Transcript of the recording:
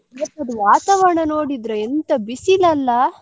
ಇವತ್ತಿದ್ದ್ ವಾತಾವರಣ ನೋಡಿದ್ರೆ ಎಂತ ಬಿಸಿಲಲ್ಲ.